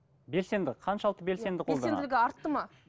белсенді қаншалықты белсенді қолданады белсенділігі артты ма